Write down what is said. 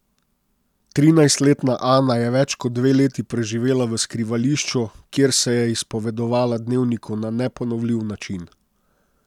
Trinajstletna Ana je več kot dve leti preživela v skrivališču, kjer se je izpovedovala dnevniku na neponovljiv način.